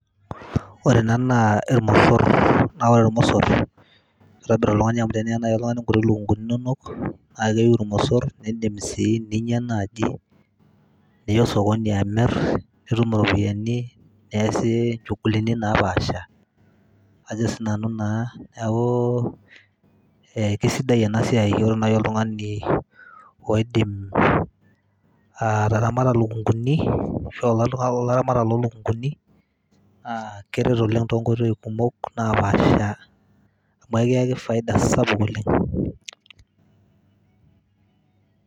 Ore ena naa irmosor naa ore irmosor kitobir oltung'ani amu teniyata nai nkuti lukung'uni naake iyiu irmosor, niindim sii ninya naaji, niya osokoni amir nitum iropiani niasie nchugulini napaasha ajo sinanu naa. Neeku kesidai ena siai iyolo nai oltung'ani oidim ataramata ilokung'uni ashu a kulo tung'anak loolaramatak lo lukung'uni aa keret oleng' to nkoitoi kumok napaasha amu kiyaki faida sapuk oleng'.